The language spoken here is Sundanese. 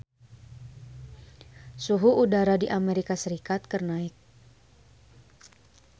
Suhu udara di Amerika Serikat keur naek